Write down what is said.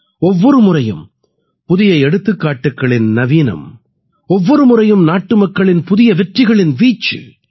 ஒவ்வொரு முறையும் புதிய எடுத்துக்காட்டுகளின் நவீனம் ஒவ்வொரு முறையும் நாட்டுமக்களின் புதிய வெற்றிகளின் வீச்சு